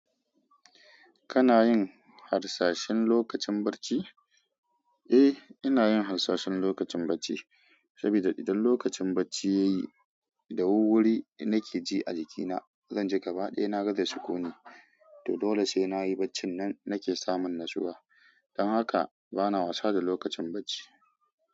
Kana yin harsashin lokacin bacci? Eh, ina yin harsashin lokacin bacci, saboda idan lokacin bacci ya yi, da wuwuri nake ji a jikina, zan ji gaba ɗaya na gaza sukuni. To dole sai na yi bacci nan nake samun natsuwa. Dan haka bana wasa da lokacin bacci.